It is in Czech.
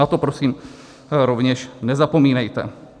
Na to prosím rovněž nezapomínejte.